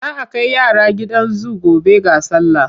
Za a kai yara gidan zu gobe ga sallah.